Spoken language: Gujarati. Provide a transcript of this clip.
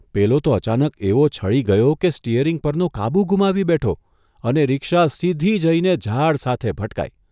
પેલો તો અચાનક એવો છળી ગયો કે સ્ટિયરીંગ પરનો કાબૂ ગુમાવી બેઠો અને રિક્ષા સીધી જઇને ઝાડ સાથે ભટકાઇ !